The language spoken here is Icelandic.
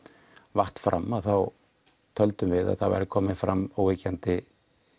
vatt fram þá töldum við að það væru komnar fram óyggjandi